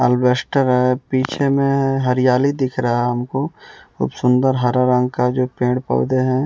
अल्वेस्टर है पीछे में हरियाली दिख रहा हमको खूब सुंदर हरा रंग का जो पेड़ पौधे हैं।